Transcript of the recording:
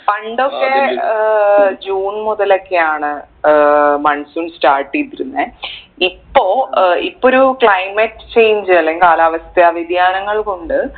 പണ്ടൊക്കെ uh June മുതലൊക്കെയാണ് uh monsoon start എയ്തിരുന്നെ ഇപ്പൊ ഏർ ഇപ്പൊരു climate change അല്ലേൽ കാലാവസ്ഥ വ്യതിയാനങ്ങൾ കൊണ്ട്